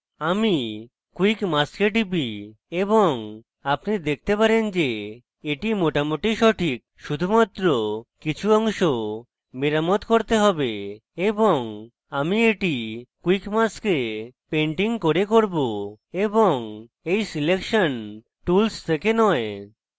আমি quick mask এ টিপি এবং আপনি দেখেন যে এটি মোটামুটি সঠিক শুধুমাত্র কিছু অংশ মেরামত করতে হবে এবং আমি এটি quick mask এ painting করে করব এবং এই selection tools থেকে নয়